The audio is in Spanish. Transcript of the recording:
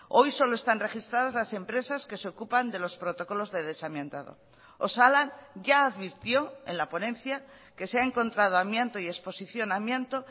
hoy solo están registradas las empresas que se ocupan de los protocolos de desamiantado osalan ya advirtió en la ponencia que se ha encontrado amianto y exposición a amianto